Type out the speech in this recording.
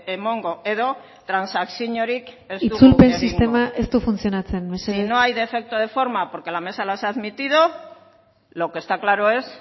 emango edo transakziorik ez dugu egingo itzulpen sistema ez du funtzionatzen mesedez si no hay defecto de forma porque la mesa las ha admitido lo que está claro es